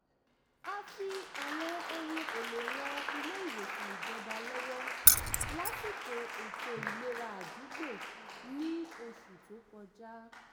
a fi àwọn ohun èlò ran ilé-ìwòsàn ìjọba lọ́wọ́ lásìkò ètò ìlera àdúgbò ní oṣù tó kọjá